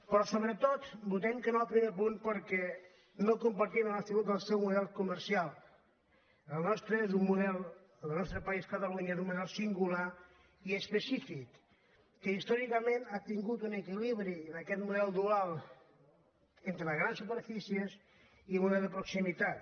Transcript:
però sobretot votem que no al primer punt perquè no compartim en absolut el seu model comercial el nos·tre és un model el nostre país catalunya és un mo·del singular i específic que històricament ha tingut un equilibri en aquest model dual entre les grans super·fícies i el model de proximitat